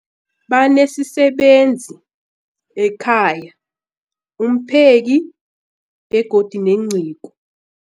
Banesisebenzi sekhaya, umpheki, begodu nenceku.